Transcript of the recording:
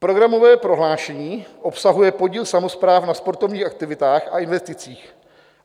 Programové prohlášení obsahuje podíl samospráv na sportovních aktivitách a investicích.